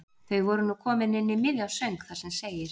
Þau voru nú komin inn í miðjan söng þar sem segir